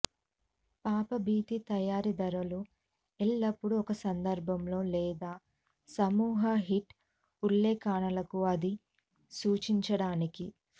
పాపభీతి తయారీదారులు ఎల్లప్పుడూ ఒక సందర్భంలో లేదా సమూహ షీట్ ఉల్లేఖనాలను అది సూచించడానికి